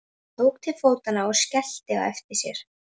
Hún tók til fótanna og skellti á eftir sér.